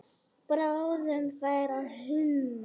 Bráðum færi að húma.